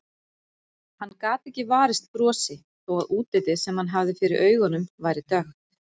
Hann gat ekki varist brosi þó að útlitið sem hann hafði fyrir augunum væri dökkt.